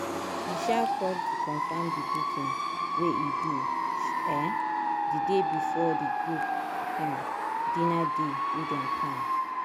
e um call to confirm the booking wey e do um the day before the group um dinner day wey dem plan.